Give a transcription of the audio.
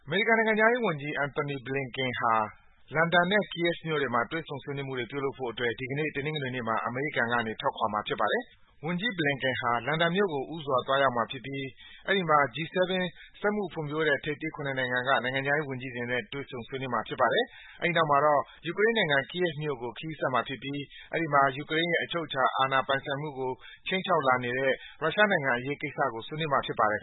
မေရိကန် နိုင်ငံခြားရေးဝန်ကြီး Antony Blinken ဟာ လန်ဒန်နဲ့ Kyiv မြို့တွေမှာ တွေ့ဆုံဆွေးနွေးမှုတွေ ပြုလုပ်ဖို့အတွက် ဒီကနေ့ တနင်္ဂနွေနေ့မှာ အမေရိကန်ကနေ ထွက်ခွာမှာ ဖြစ်ပါတယ်။ ဝန်ကြီး Blinken ဟာ လန်ဒန်မြို့ကို ဦးစွာ သွားရောက်မှာဖြစ်ပြီး အဲဒီမှာ G-7 စက်မှုဖွံ့ဖြိုးတဲ့ ထိပ်သီး ၇ နိုင်ငံက နိုင်ငံခြားရေးဝန်ကြီးတွေနဲ့ တွေ့ဆုံဆွေးနွေးမှာ ဖြစ်ပါတယ်။ အဲဒီနောက်မှာတော့ ယူကရိန်းနိုင်ငံ၊ Kyiv မြို့ကို ခရီးဆက်မှာဖြစ်ပြီး အဲဒီမှာ ယူကရိန်းရဲ့ အချုပ်အခြာ ပိုင်ဆိုင်မှုကို ခြိမ်းခြောက်လာနေတဲ့ ရုရှားနိုင်ငံအရေးကိစ္စကို ဆွေးနွေးမှာ ဖြစ်ပါတယ်